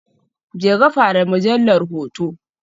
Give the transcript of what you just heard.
Jeka fara mujallar hoto.